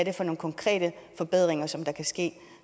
er for nogle konkrete forbedringer som kan ske